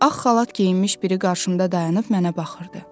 Ağ xalat geyinmiş biri qarşımda dayanıb mənə baxırdı.